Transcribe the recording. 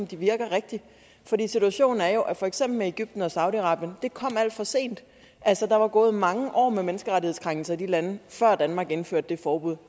de virker rigtigt for situationen er jo at for eksempel egypten og saudi arabien kom alt for sent der var gået mange år med menneskerettighedskrænkelser i de lande før danmark indførte det forbud